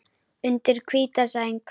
Undir hvíta sæng.